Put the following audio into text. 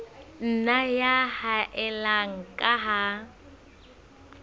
nna ya haella ka ha